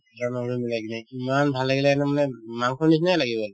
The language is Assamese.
গৰম মছলা মিলাই কিনে ইমান ভাল লাগিলে তাৰমানে মাংসৰ নিচিনাই লাগে বাৰু